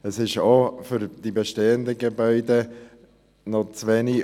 Es ist auch für die bestehenden Gebäude zu wenig;